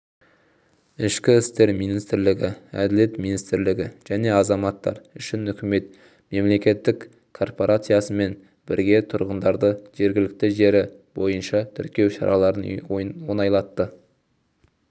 ішкі істер министрлігі әділет министрлігі және азаматтар үшін үкімет мемлекеттік корпорациясымен бірге тұрғындарды жергілікті жері бойынша тіркеу шараларын оңайлатты